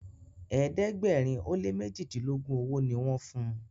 ẹ̀ẹ́dẹ̀gbẹ̀rin o lẹ mẹjidilogun ọwó ní wón fún.